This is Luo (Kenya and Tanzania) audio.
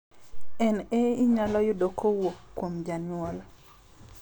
NA inyalo yudi kowuok kuom janyuol